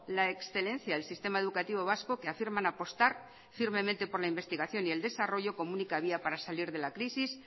la excelencia del sistema educativo vasco que afirman apostar firmemente por la investigación y el desarrollo como única vía para salir de la crisis